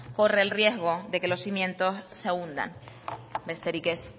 corre el riesgo de que los cimientos se hundan besterik ez